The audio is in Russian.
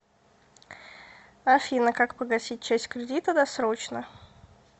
афина как погасить часть кредита досрочно